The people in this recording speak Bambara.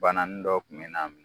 Banani dɔ kuma na